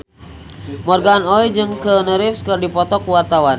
Morgan Oey jeung Keanu Reeves keur dipoto ku wartawan